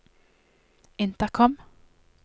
intercom